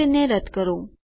તો તેને રદ્દ કરો